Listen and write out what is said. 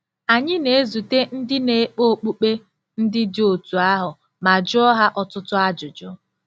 Anyị na-ezute ndị na-ekpe okpukpe ndị dị otú ahụ ma jụọ ha ọtụtụ ajụjụ.